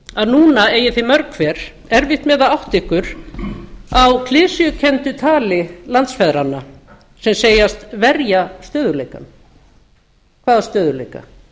að núna eigið þið mörg hver erfitt með að átta ykkur á klisjukenndu tali landsfeðranna sem segjast verja stöðugleikann hvaða stöðugleika